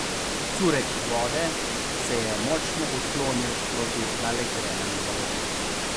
Curek vode se je močno odklonil proti naelektrenemu balonu.